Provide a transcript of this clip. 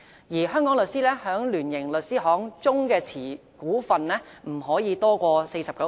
而香港律師在聯營律師行中所持股份，不得多於 49%。